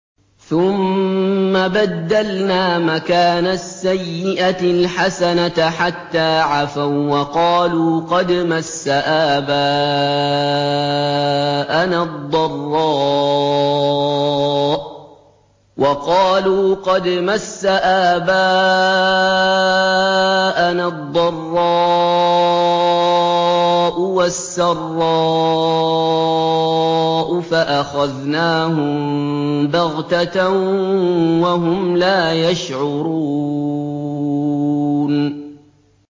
ثُمَّ بَدَّلْنَا مَكَانَ السَّيِّئَةِ الْحَسَنَةَ حَتَّىٰ عَفَوا وَّقَالُوا قَدْ مَسَّ آبَاءَنَا الضَّرَّاءُ وَالسَّرَّاءُ فَأَخَذْنَاهُم بَغْتَةً وَهُمْ لَا يَشْعُرُونَ